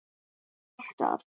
Palli alltaf.